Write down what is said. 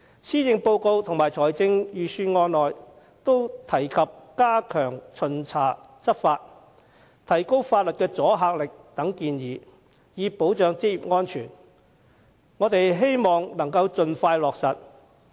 施政報告及財政預算案均提及加強巡查、執法、提高法例阻嚇力等建議，以保障職業安全，我們希望政府能盡快落實。